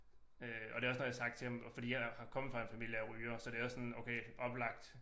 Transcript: Øh og det også noget jeg har sagt til ham og fordi jeg har kommet fra en familie af rygere så det også sådan okay oplagt